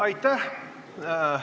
Aitäh!